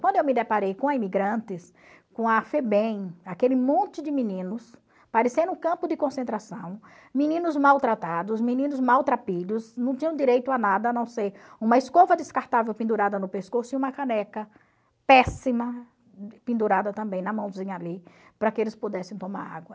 Quando eu me deparei com a Imigrantes, com a Febem, aquele monte de meninos, parecendo um campo de concentração, meninos maltratados, meninos maltrapilhos, não tinham direito a nada, a não ser uma escova descartável pendurada no pescoço e uma caneca péssima pendurada também na mãozinha ali, para que eles pudessem tomar água.